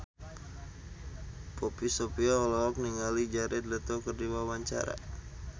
Poppy Sovia olohok ningali Jared Leto keur diwawancara